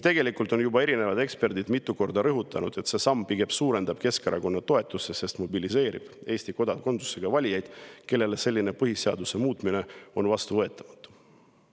Tegelikult on erinevad eksperdid juba mitu korda rõhutanud, et see samm pigem suurendab Keskerakonna toetust, sest mobiliseerib Eesti kodakondsusega valijaid, kellele selline põhiseaduse muutmine on vastuvõetamatu.